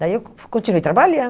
Daí eu continuei trabalhando.